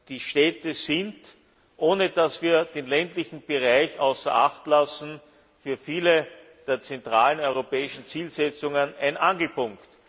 Die Städte sind ohne dass wir den ländlichen Bereich außer Acht lassen für viele der zentralen europäischen Zielsetzungen ein Angelpunkt.